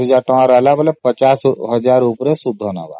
ବାକି ୫୦୦୦୦ ଉପରେ ସେ ସୁଧ ନେବ।